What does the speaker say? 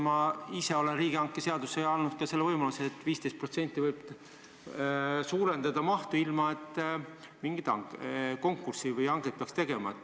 Ma ise olen riigihanke seadusesse andnud selle võimaluse, et mahtu võib suurendada kuni 15%, ilma et konkurssi või hanget peaks tegema.